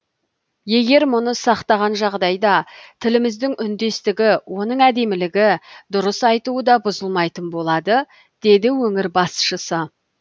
егер мұны сақтаған жағдайда тіліміздің үндестігі оның әдемілігі дұрыс айтуы да бұзылмайтын болады деді өңір басшысы